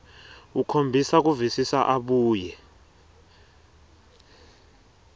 ukhombisa kuvisisa abuye